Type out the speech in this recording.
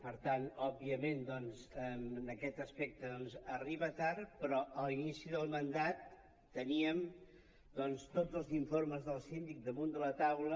per tant òbviament doncs en aquest aspecte arriba tard però a l’inici del mandat teníem doncs tots els informes del síndic damunt de la taula